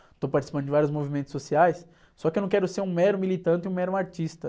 Estou participando de vários movimentos sociais, só que eu não quero ser um mero militante e um mero artista.